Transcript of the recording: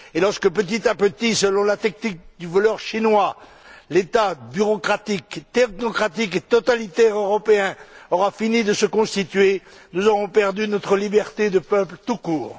Lorsque, petit à petit, selon la technique du voleur chinois, l'État bureaucratique, technocratique et totalitaire européen aura fini de se constituer, nous aurons perdu notre liberté de peuple tout court.